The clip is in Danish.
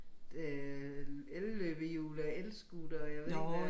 Øh elløbehjul elscooter og jeg ved ikke hvad